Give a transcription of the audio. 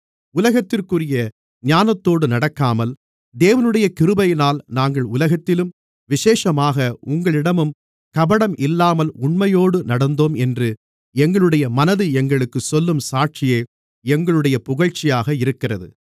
உலகத்திற்குரிய ஞானத்தோடு நடக்காமல் தேவனுடைய கிருபையினால் நாங்கள் உலகத்திலும் விசேஷமாக உங்களிடமும் கபடம் இல்லாமல் உண்மையோடு நடந்தோம் என்று எங்களுடைய மனது எங்களுக்குச் சொல்லும் சாட்சியே எங்களுடைய புகழ்ச்சியாக இருக்கிறது